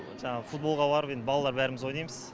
жаңағы футболға барып енді балалар бәріміз ойнаймыз